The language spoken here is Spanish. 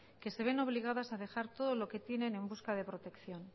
que se ven obligadas a dejar todo lo que tienen en busca de protección